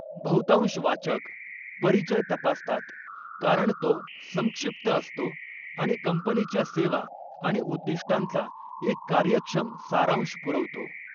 बहुतांश वाचक परिचय तपासतात, कारण तो संक्षिप्त असतो आणि कंपनीच्या सेवा आणि उद्दिष्टांचा एक कार्यक्षम सारांश पुरवतो.